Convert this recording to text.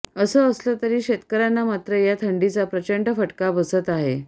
असं असलं तरी शेतकऱ्यांना मात्र या थंडीचा प्रचंड फटका बसत आहे